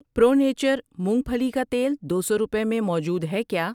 پرو nature مونگ پھلی کا تیل دو سو روپے میں موجود ہے کیا؟